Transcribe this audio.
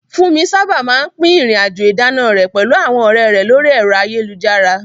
Funmi sábà máa ń pín ìrìn-àjò ìdáná rẹ̀ pẹ̀lú àwọn ọ̀rẹ́ rẹ̀ lórí ẹ̀rọ ayélujára.